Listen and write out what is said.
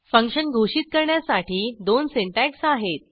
function घोषित करण्यासाठी दोन सिंटॅक्स आहेत